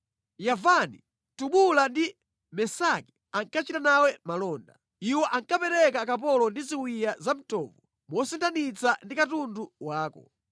“Yavani, Tubala ndi Mesaki ankachita nawe malonda; iwo ankapereka akapolo ndi ziwiya za mtovu mosinthanitsa ndi katundu wako.